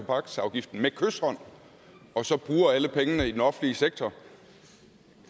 tobaksafgiften med kyshånd og så bruger alle pengene i den offentlige sektor